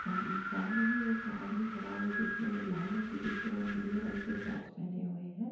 साम सामने ही एक आदमी खड़ा हुआ है जिससे लाल रंग की टी-शर्ट और नीले रंग की शॉर्ट्स पेहने हुए हैं।